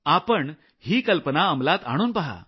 आपणही कल्पना अमलात आणून पहा